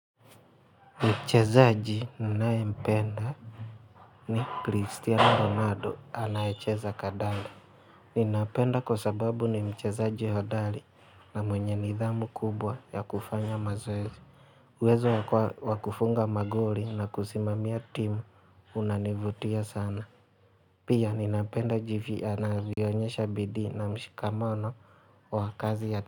Mchezaaji ninae mpenda ni Cristiano Ronaldo anaecheza kadanda. Ninapenda kwa sababu ni mchezaaji hodali na mwenye nidhamu kubwa ya kufanya mazoezi. uWezo wakufunga magoli na kusimamia timu unanivutia sana. Pia ninapenda jivyi ana vyoonyesha bidii na mshikamano wa kazi ya timu.